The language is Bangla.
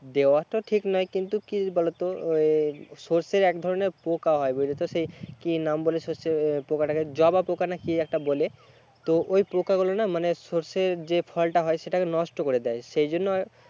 দেওয়া তো ঠিক নয় কিন্তু কি বলতো ওই সর্ষের এক ধরণের পোকা হয় বুঝেছো সেই কি নাম বলে সর্ষের পোকা টা কে জবা পোকা না কি একটা বলে তো ওই পোকা গুলো না মানে সর্ষের যে ফল টা হয় সেটাকে নষ্ট করে দেয় সেইজন্য আর